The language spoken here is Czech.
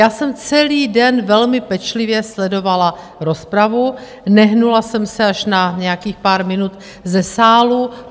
Já jsem celý den velmi pečlivě sledovala rozpravu, nehnula jsem se - až na nějakých pár minut - ze sálu.